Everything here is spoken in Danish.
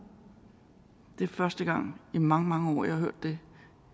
det er første gang i mange mange år jeg har hørt det